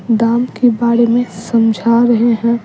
दाम के बारे में समझा रहे हैं।